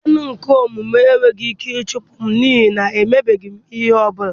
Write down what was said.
Dean nke ọmụmụ enweghị ike ịchụpụ m, n'ihi na emebeghị m ihe ọ bụla.